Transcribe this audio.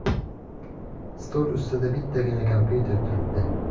Stol ustida bittagina kompyuter turibdi.